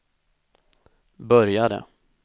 började